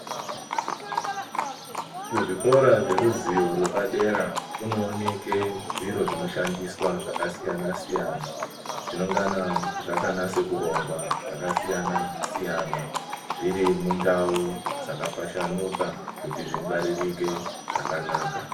Kuzvikora zveruzivo rwepadera kunooneke zviro zvinoshandiswa zvakasiyana-siyana, zvinongana zvakanyase kurongwa zvakasiyana-siyana. Zviri mundau dzakapashanuka kuti zvingwaririke zvakanaka.